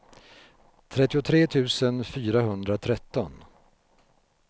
trettiotre tusen fyrahundratretton